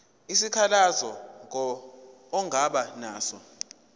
isikhalazo ongaba naso